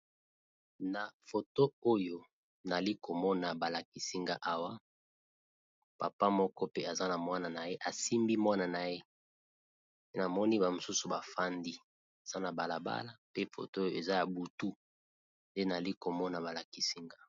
na foto oyo nali komona balakisinga awa papa moko pe aza na mwana na ye asimbi mwana na yena moni bamosusu bafandi aza na balabala pe foto oyo eza ya butu nde nali komona balakisinga